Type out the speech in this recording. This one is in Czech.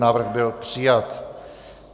Návrh byl přijat.